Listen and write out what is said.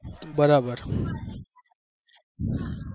બરાબર